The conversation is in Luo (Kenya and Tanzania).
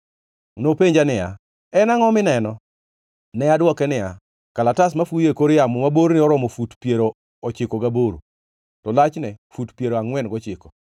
Nopenja niya, “En angʼo mineno?” Ne adwoke niya, “Kalatas mafuyo e kor yamo, ma borne oromo fut piero ochiko gaboro, to lachne fut piero angʼwen gochiko.”